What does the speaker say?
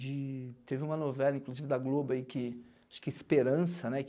De... Teve uma novela, inclusive, da Globo aí, que... Acho que Esperança, né?